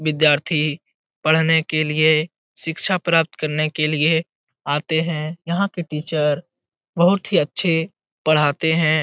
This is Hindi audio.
विद्यार्थी पढने के लिए शिक्षा प्राप्त करने के लिए आते है यहाँ के टीचर बहुत ही अच्छे पढ़ाते है।